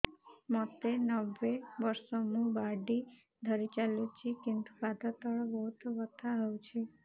ମୋତେ ନବେ ବର୍ଷ ମୁ ବାଡ଼ି ଧରି ଚାଲୁଚି କିନ୍ତୁ ପାଦ ତଳ ବହୁତ ବଥା ହଉଛି